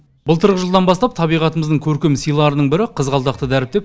былтырғы жылдан бастап табиғатымыздың көркем сыйларының бірі қызғалдақты дәріптеп